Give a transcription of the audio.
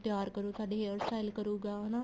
ਤਿਆਰ ਕਰੂ ਸਾਡੇ hair style ਕਰੂਗਾ ਹਨਾ